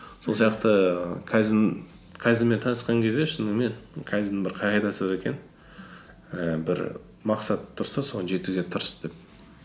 сол сияқты ііі кайдзенмен танысқан кезде шынымен кайдзеннің бір қағидасы бар екен ііі бір мақсат тұрса соған жетуге тырыс деп